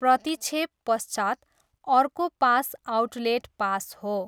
प्रतिक्षेपपश्चात् अर्को पास आउटलेट पास हो।